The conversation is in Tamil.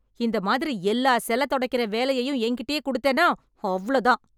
இந்த மாதிரி எல்லா செல தொடைக்கிற வேலையையும் என்கிட்டயே குடுத்தன்னா, அவ்ளோ தான்.